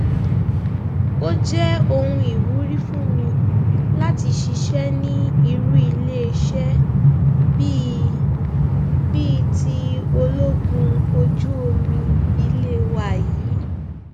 ó jẹ ohun ìwúrí fún mi láti ṣiṣẹ ní irú iléeṣẹ bíi bíi ti ológun ojú omi ilé wa yìí